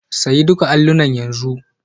Sayi duka allunan yanzu.